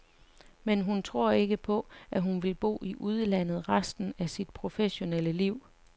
Men hun tror ikke på, at hun vil bo i udlandet resten af sit professionelle liv.